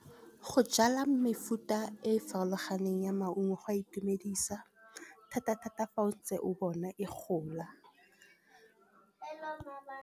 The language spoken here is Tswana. Go jala mefuta e farologaneng ya maungo go a itumedisa thata-thata fa o ntse o bona e gola.